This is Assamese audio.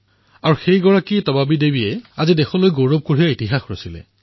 আৰু তেওঁ দেশৰ বাবে মেডেল জয় কৰি ইতিহাস ৰচনা কৰিলে